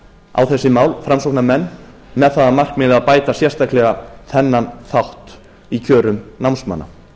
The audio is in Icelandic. á þessi mál framsóknarmenn með það að markmiði að bæta sérstaklega þennan þátt í kjörum námsmanna